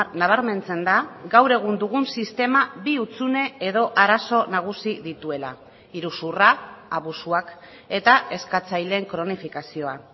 nabarmentzen da gaur egun dugun sistema bi hutsune edo arazo nagusi dituela iruzurra abusuak eta eskatzaileen kronifikazioa